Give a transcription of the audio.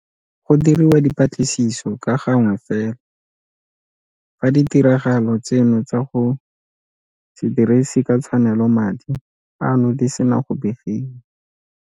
Go diriwa dipatlisiso ka gangwe fela fa ditiragalo tseno tsa go se dirise ka tshwanelo madi ano di sena go begiwa.